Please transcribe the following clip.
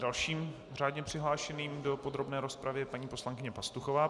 Dalším řádně přihlášeným do podrobné rozpravy je paní poslankyně Pastuchová.